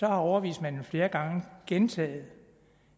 at overvismanden flere gange har gentaget